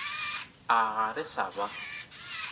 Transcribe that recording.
a ga re sa ba